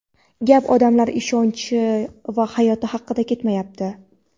Gap odamlar ishonchi va hayoti haqida ketyapti.